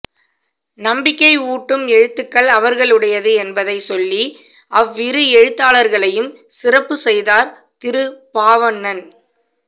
நம்பிக்கை ஊட்டும் எழுத்துக்கள் அவர்களுடையது என்பதைச்சொல்லி அவ்விரு எழுத்தாளர்களையும் சிறப்புச்செய்தார் திரு பாவண்ணன்